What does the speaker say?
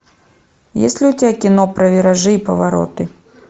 есть ли у тебя кино про виражи и повороты